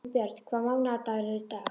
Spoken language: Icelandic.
Unnbjörn, hvaða mánaðardagur er í dag?